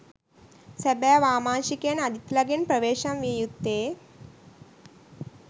සැබෑ වාමාංශිකයන් අජිත්ලගෙන් ප්‍රවේශම් විය යුත්තේ